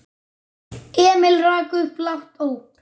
Emil rak upp lágt óp.